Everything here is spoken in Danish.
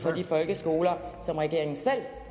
de folkeskoler som regeringen selv